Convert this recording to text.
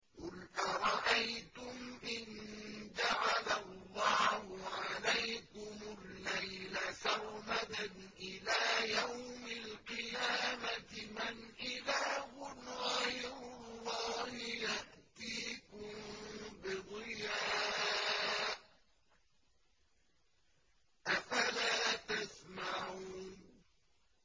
قُلْ أَرَأَيْتُمْ إِن جَعَلَ اللَّهُ عَلَيْكُمُ اللَّيْلَ سَرْمَدًا إِلَىٰ يَوْمِ الْقِيَامَةِ مَنْ إِلَٰهٌ غَيْرُ اللَّهِ يَأْتِيكُم بِضِيَاءٍ ۖ أَفَلَا تَسْمَعُونَ